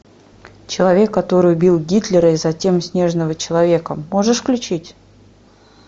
человек который убил гитлера и затем снежного человека можешь включить